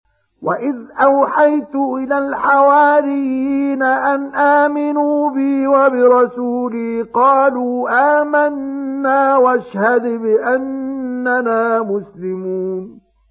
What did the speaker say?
وَإِذْ أَوْحَيْتُ إِلَى الْحَوَارِيِّينَ أَنْ آمِنُوا بِي وَبِرَسُولِي قَالُوا آمَنَّا وَاشْهَدْ بِأَنَّنَا مُسْلِمُونَ